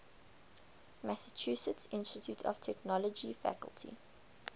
massachusetts institute of technology faculty